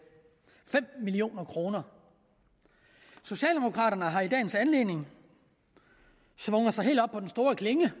fem million kroner socialdemokraterne har i dagens anledning svunget sig helt op på den store klinge